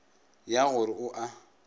ya go re a o